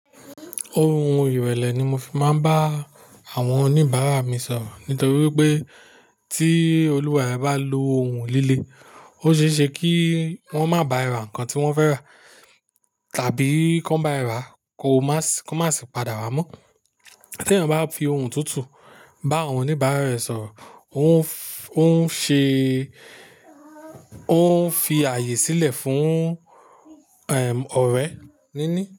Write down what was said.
Ohun ìrẹ̀lẹ̀ ni mo fi máa ń bá àwọn oníbàárà mi sọ̀rọ̀ nítorí pé tí olùwàrẹ bá lo ohun líle, ó ṣe é ṣe kí wọ́n má bá ẹ ra nǹkan tí wọ́n fẹ́ rà, tàbí kí wọ́n bá ẹ rà, kan má sì padà wá mọ́. Tí ènìyàn bá fi ohun tutu bá àwọn oníbàárà rẹ̀ sọ̀rọ̀, ó ń fi ààyè sílẹ̀ fún, ẹm, ọ̀rẹ́ níní.